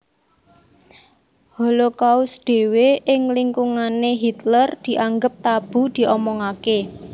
Holocaust dhéwé ing lingkungané Hitler dianggep tabu diomongaké